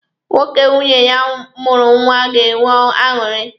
Nwoke nwunye ya mụrụ nwa ga-enwe aṅụrị.